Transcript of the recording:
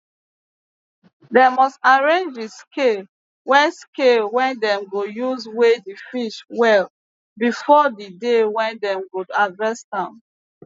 dem must arrange d scale wey scale wey dem go use weigh d fish well before d day wey dem go harvest am